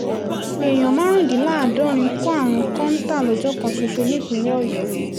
èèyàn márùndínláàádọ́rin kó àrùn kọ́ńtò lọ́jọ́ kan ṣoṣo nípínlẹ̀ ọ̀yọ́